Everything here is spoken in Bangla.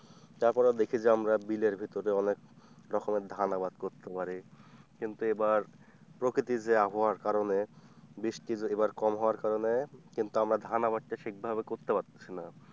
তারপরে দেখি যে আমরা বিলের ভেতরে অনেক রকমের ধান আবাদ করতে পারি কিন্তু এবার প্রকৃতি যে আবহাওয়ার কারণে বৃষ্টির এবার কম হওয়ার কারণে কিন্তু আমার ধান আবাদ টা সেই ভাবে করতে পারতেছি না।